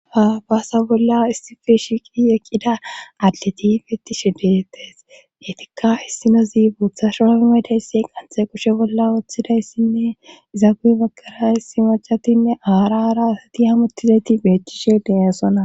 Ha baasa bolla istifi shiiqi eqqida adleti beettishi detes etikka issinozi bootha shorafe maydaysse qanthey kushe bolla woththidayssinne izaguuy bagkara issi majatinne aarara asati hamottizayti bettishe deyassona